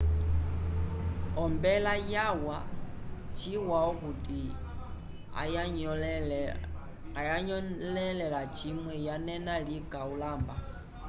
ombela yawa chiwa okuti ayanyõlele lacimwe yanena lika ulamba